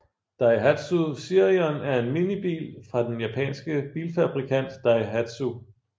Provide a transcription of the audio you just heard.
Daihatsu Sirion er en minibil fra den japanske bilfabrikant Daihatsu